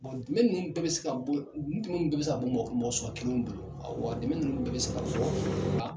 dɛmɛ ninnu bɛɛ bɛ se ka bugu mɔgɔ mɔgɔ suguya kelenw bolo. A dimɛ ninnu bɛɛ be se ka